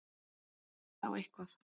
Það veit á eitthvað.